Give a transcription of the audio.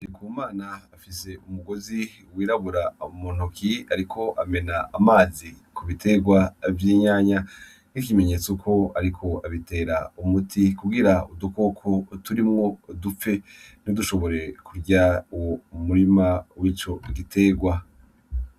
Ku mana afise umugozi wirabura muntoki, ariko amena amazi ku biterwa vy'inyanya n'ikimenyetso uko, ariko abitera umuti kugira udukoko turimwo dupfe ntidushobore kurya uwo umurima w'ico igiterwa.